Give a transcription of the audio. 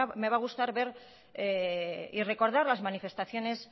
me va a gustar ver y recordar las manifestaciones